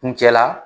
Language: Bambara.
Kuncɛ la